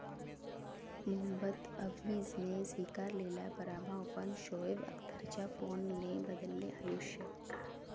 मोहम्मद हफीजने स्वीकारलेला पराभव, पण शोएब अख्तरच्या फोनने बदलले आयुष्य